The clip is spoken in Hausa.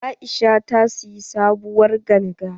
Aisha ta siyi sabuwar ganga.